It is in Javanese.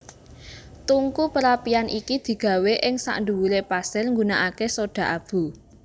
Tungku perapian iki digawé ing sandhuwuré pasir nggunakaké soda abu